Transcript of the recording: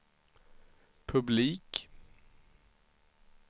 publik